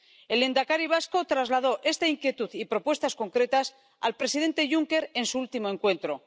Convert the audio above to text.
El lehendakari vasco trasladó esta inquietud y propuestas concretas al presidente Juncker en su último encuentro.